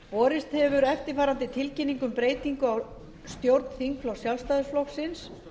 borist hefur eftirfarandi tilkynning um breytingu á stjórn þingflokks sjálfstæðisflokksins